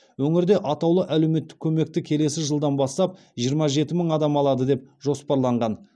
өңірде атаулы әлеуметтік көмекті келесі жылдан бастап жиырма жеті мың адам алады деп жоспарланған